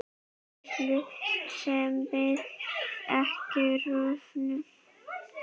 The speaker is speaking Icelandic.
Tengsl sem verða ekki rofin.